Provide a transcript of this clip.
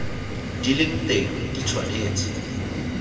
di leng teng di tshwanetse